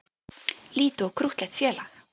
Lítið og krúttlegt félag